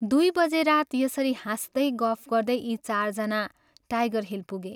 दुइ बजे रात यसरी हाँस्दै गफ गर्दै यी चारजना ' टाइगर हिल ' पुगे।